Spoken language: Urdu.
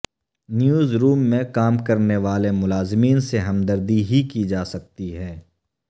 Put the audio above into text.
نیوز روم میں کام کرنے والے ملازمین سے ہمدردی ہی کی جا سکتی ہے